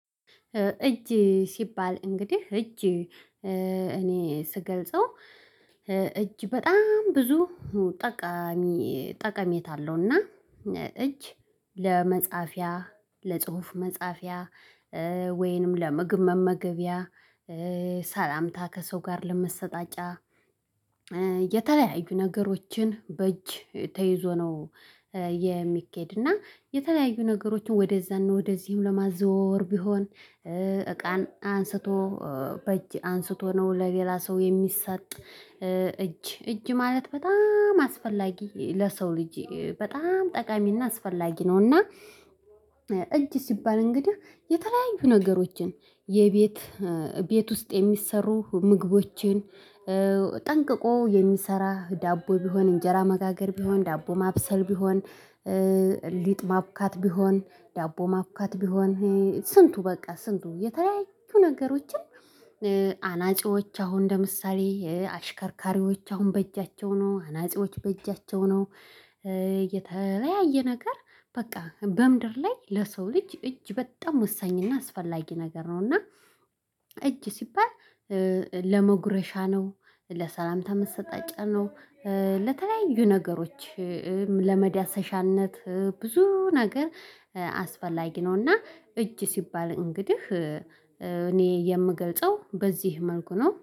እጅ ሲባል እንግዲህ እጅ እኔ ስገልጸው እጅ በጣም ብዙ ጠቃሚ ጠቀሜታ አለውና እጅ ለመጻፊያ ለጽሁፍ መጻፊያ ወይንም ለምግብ መመገቢያ ሰላምታ ከሰው ጋር ለመሰጣጫ የተለያዩ ነገሮችን በእጅ ተይዞ ነው የሚኬድና የተለያዩ ነገሮችን ወደዛ ነው ወደዚህም ለማዘወወር ቢሆን እቃን አንስቶ በእጅ አንስቶ ነው ለሌላ ሰው የሚሰጥ እጅ እጅ ማለት በጣም አስፈላጊ ለሰው ልጅ በጣም ጠቃሚና አስፈላጊ ነውና። እጅ ሲባል እንግዲህ የተለያዩ ነገሮችን የቤት ቤት ውስጥ የሚሰሩ ምግቦችን ጠንቅቆ የሚሰራ ዳቦ ቢሆን እንጀራ መጋገር ቢሆን ዳቦ ማብሰል ቢሆን ሊጥ ማብካት ቢሆን ዳቦ ማብካት ቢሆን ስንቱ በቃ ስንቱ የተለያዩ ነገሮችን አናጺዎች አሁን ለምሳሌ አሽከርካሪዎች አሁን በእጃቸው ነው አናጺዎች በእጃቸው ነው። የተለያየ ነገር በቃ በምድር ላይ ለሰው ልጅ እጅ በጣም ወሳኝና አስፈላጊ ነገር ነው እና። እጅ ሲባል ለመጉረሻ ነው ለሰላምታ መሰጣጫ ነው ለተለያዩ ነገሮች ለመዳሰሻነት ብዙ ነገር አስፈላጊ ነውና። እጅ ሲባል እንግዲህ እኔ የምገልጸው በዚህ መልኩ ነው